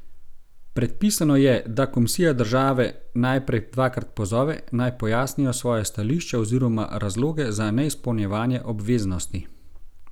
Predpisano je, da komisija države najprej dvakrat pozove, naj pojasnijo svoje stališče oziroma razloge za neizpolnjevanje obveznosti.